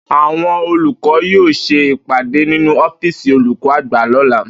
Àwo̩n olùkó̩ yóò s̩e ìpàdé nínú ó̩fíìsì olùkó̩ àgbà ló̩la